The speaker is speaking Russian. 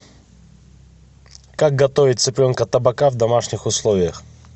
как готовить цыпленка табака в домашних условиях